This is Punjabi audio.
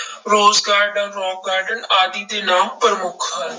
Rose garden, rock garden ਆਦਿ ਦੇ ਨਾਮ ਪ੍ਰਮੁੱਖ ਹਨ।